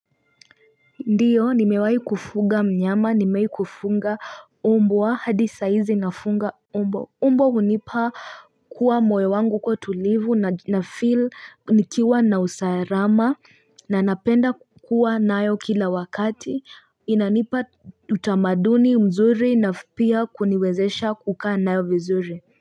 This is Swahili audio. Ndiyo nimewahi kufuga mnyama nimewahi kufuga mbwa hadi sahizi nafunga mbwa mbwa hunipa kuwa moyo wangu kuwa tulivu nafeel nikiwa na usalama na napenda kukuwa nayo kila wakati inanipa utamaduni mzuri na pia kuniwezesha kukaa nayo vizuri.